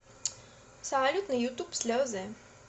салют на ютуб слезы